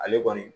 Ale kɔni